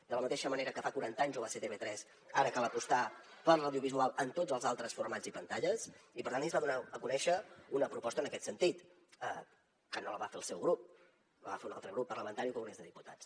de la mateixa manera que fa quaranta anys ho va ser tv3 ara cal apostar per l’audiovisual en tots els altres formats i pantalles i per tant ahir es va donar a conèixer una proposta en aquest sentit que no la va fer el seu grup la va fer un altre grup parlamentari al congrés dels diputats